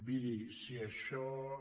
miri si això és